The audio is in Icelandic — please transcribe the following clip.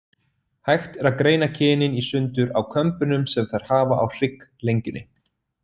Hægt er að greina kynin í sundur á kömbunum sem þær hafa á hrygglengjunni.